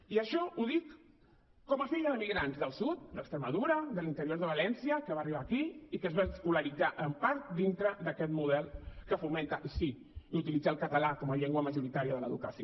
i això ho dic com a filla d’emigrants del sud d’extremadura de l’interior de valència que va arribar aquí i que es va escolaritzar en part dintre d’aquest model que fomenta i sí utilitza el català com a llengua majoritària de l’educació